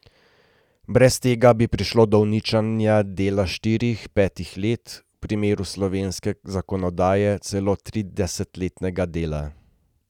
Brez tega bi prišlo do uničenja dela štirih, petih let, v primeru slovenske zakonodaje celo tridesetletnega dela.